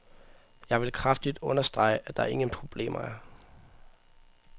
Jeg vil kraftigt understrege, at der ingen problemer er.